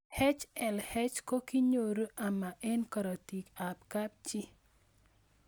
HLH ko kinyoru ama eng'karatik ab kapchii